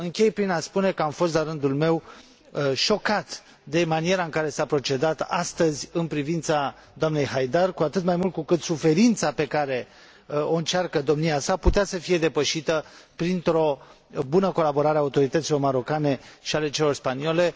Închei prin a spune că am fost, la rândul meu, șocat de maniera în care s a procedat astăzi în privința doamnei Haidar, cu atât mai mult cu cât suferința pe care o încearcă domnia sa putea să fie depășită printr o bună colaborare a autorităților marocane și ale celor spaniole.